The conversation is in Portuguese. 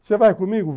Você vai comigo?